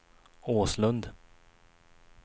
Åslund